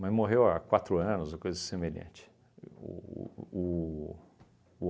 mas morreu há quatro anos, uma coisa semelhante. O o o